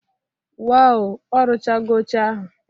Waw! Ọ ruchago oche ahụ